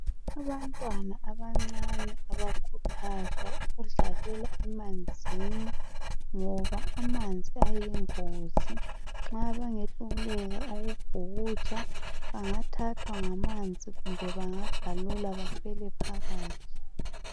Abantwana abancane abakhuthazwa ukudlalela emanzini ngoba amanzi ayingozi, nxa bengahluleka ukubhukutsha bangathathwa ngamanzi kumbe bangagalula bafele phakathi.